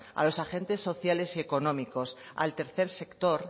a los agentes sociales y económicos al tercer sector